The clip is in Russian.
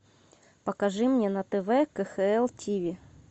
покажи мне на тв кхл тиви